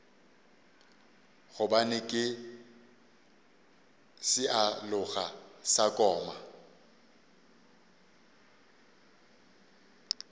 gobane ke sealoga sa koma